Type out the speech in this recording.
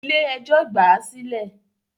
Ilé ẹjọ́ gbà á sílẹ̀